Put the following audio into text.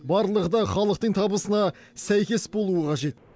барлығы да халықтың табысына сәйкес болуы қажет